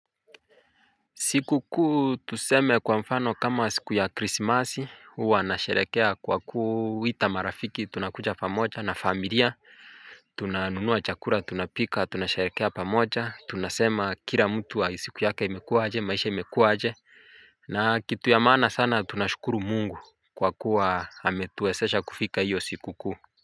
Siku kuu tuseme kwa mfano kama siku ya krisimasi huwa nasherekea kwa kuita marafiki tunakuja pamoja na familia. Tunanunua chakura tunapika tunasherekea pamoja tunasema kira mtu siku yake imekuaje maisha imekuaje. Na kitu ya maana sana tunashukuru mungu kwa kuwa ametuwesesha kufika iyo siku kuu.